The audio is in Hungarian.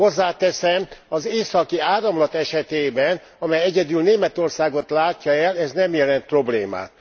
Hozzáteszem, az Északi Áramlat esetében amely egyedül Németországot látja el ez nem jelent problémát.